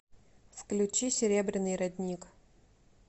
включи серебряный родник